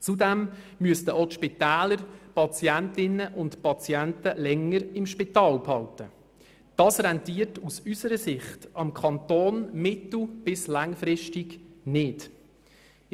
Zudem müssten auch die Spitäler Patientinnen und Patienten länger im Spital behalten, was aus unserer Sicht für den Kanton mittel- bis langfristig nicht rentiert.